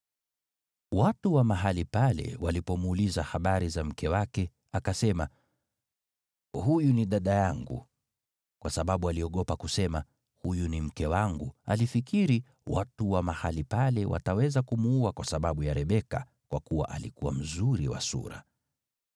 Watu wa mahali pale walipomuuliza habari za mke wake, akasema, “Huyu ni dada yangu,” kwa sababu aliogopa kusema, “Huyu ni mke wangu.” Alifikiri, “Watu wa mahali pale wataweza kumuua kwa sababu ya Rebeka, kwa kuwa alikuwa mzuri wa sura.”